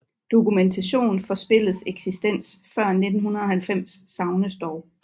Dokumentation for spillets eksistens før 1990 savnes dog